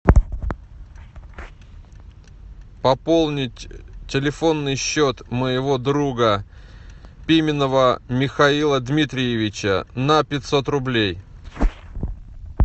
пополнить телефонный счет моего друга пименова михаила дмитриевича на пятьсот рублей